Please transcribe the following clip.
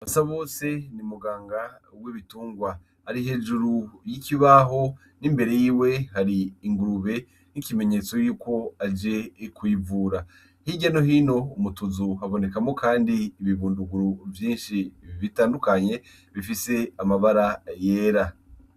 Basa bose ni muganga we bitungwa ari hejuru y'ikibaho n'imbere yiwe hari ingurube n'ikimenyetso yuko aje kuivura h'irya nohino umutuzu habonekamo, kandi ibibunduguru vyinshi i bitandukanye bifise amabara yera.